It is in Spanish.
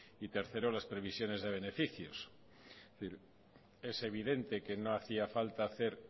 y tercero las previsiones de beneficios es evidente que no hacía falta hacer